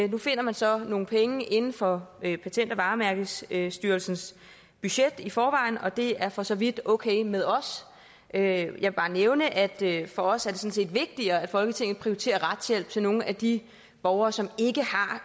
nu finder man så nogle penge inden for det der er patent og varemærkestyrelsens budget i forvejen og det er for så vidt okay med os jeg vil bare nævne at det for os sådan set er vigtigere at folketinget prioriterer retshjælp til nogle af de borgere som